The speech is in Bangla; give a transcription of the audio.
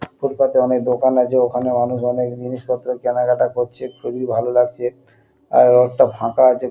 ফুটপাথ -এ অনেক দোকান আছে ওখানে মানুষ অনেক জিনিসপত্র কেনাকাটা করছে খুবই ভালো লাগছে আর রোড -টা ফাঁকা আছে।